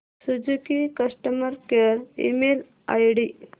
Suzuki customer care email ID